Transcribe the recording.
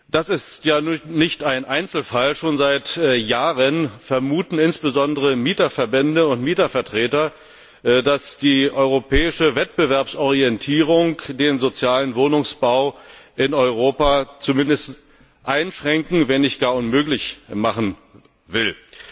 Das ist kein Einzelfall, schon seit Jahren vermuten insbesondere Mieterverbände und Mietervertreter, dass die europäische Wettbewerbsorientierung den sozialen Wohnungsbau in Europa zumindest einschränken, wenn nicht gar unmöglich machen will.